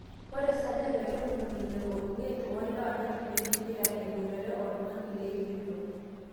ore 65% oolewa neitumia impirai eboitare oltung'ani leijo ilo